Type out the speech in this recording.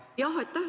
Aitäh!